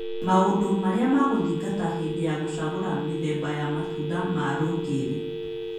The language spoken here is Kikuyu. Maũndũ marĩa ma gũthingata hĩndĩ ya gũchagũra mĩthemba ya matunda ma rũkiri